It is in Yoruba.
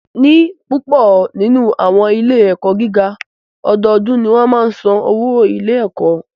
Ní púpọ nínú àwọn ilé ẹ̀kọ́ gíga, ọdọọdún ni wọ́n máa ń san owó ilé ẹ̀kọ́